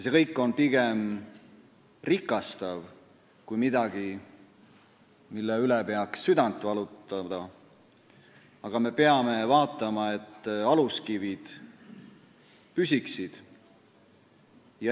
See kõik on pigem rikastav ja mitte midagi sellist, mille üle peaks südant valutama, aga me peame vaatama, et aluskivid püsiksid.